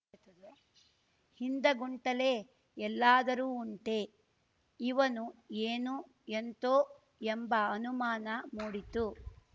ಹಿಂದಗುಂಟಲೆ ಎಲ್ಲಾದರೂ ಉಂಟೆ ಇವನು ಏನೋ ಎಂತೋ ಎಂಬ ಅನುಮಾನ ಮೂಡಿತು